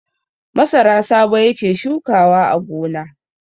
Masara Sabo yake shukawa a gona.